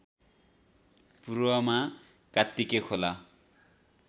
पूर्वमा कात्तिके खोला